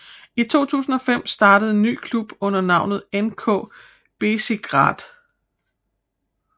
I 2005 startede en ny klub under navnet NK Bezigrad